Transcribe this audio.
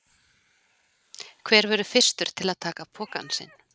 Hver verður fyrstur til að taka pokann sinn?